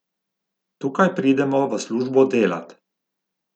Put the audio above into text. Tukaj pridemo v službo delat.